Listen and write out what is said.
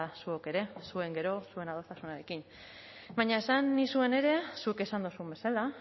zuok ere zuen gero zuen adostasunarekin baina esan nizuen ere zuk esan duzun bezala